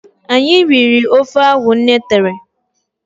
Anyị riri ofe ahụ nne tere